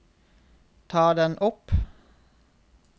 ta den opp